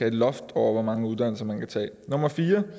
et loft over hvor mange uddannelser man kan tage nummer fire